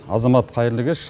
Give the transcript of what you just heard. азамат қайырлы кеш